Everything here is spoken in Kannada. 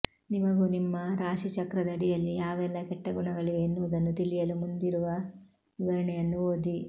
ನಿಮಗೂ ನಿಮ್ಮ ರಾಶಿಚಕ್ರದಡಿಯಲ್ಲಿ ಯಾವೆಲ್ಲಾ ಕೆಟ್ಟ ಗುಣಗಳಿವೆ ಎನ್ನುವುದನ್ನು ತಿಳಿಯಲು ಮುಂದಿರುವ ವಿವರಣೆಯನ್ನು ಓದಿ